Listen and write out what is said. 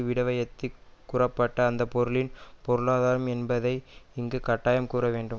விடவயத்து கூறப்பட்ட அந்த பொருளின் பொருளாதாம் என்பதை இங்கு கட்டாயம் கூற வேண்டும்